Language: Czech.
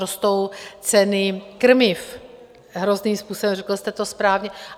Rostou ceny krmiv hrozným způsobem, řekl jste to správně.